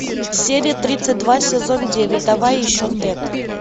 серия тридцать два сезон девять давай еще тэд